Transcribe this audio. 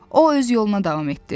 O öz yoluna davam etdi.